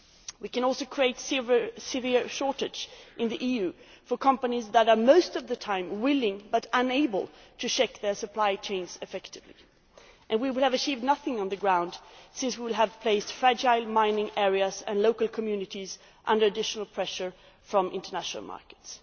We can also create a severe shortage in the EU for companies that are most of the time willing, but unable, to check their supply chains effectively, and we will have achieved nothing on the ground since we will have placed fragile mining areas and local communities under additional pressure from international markets.